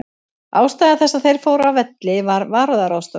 Ástæða þess að þeir fóru af velli var varúðarráðstöfun.